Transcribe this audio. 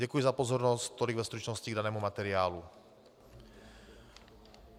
Děkuji za pozornost, tolik ve stručnosti k danému materiálu.